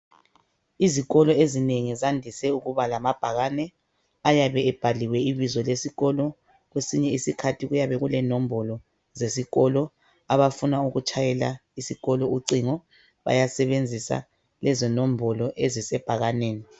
Izikolo ezinengi zandise ukuba lamabhakane ayabe ebhaliwe ibizo leskolo, kwesinye iskhathi kuyabe kulenombolo zesikolo. Abafuna ukutshayela isikolo ucingo bayasebenzisa lezo nombolo ezisebhakaneni.